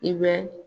I bɛ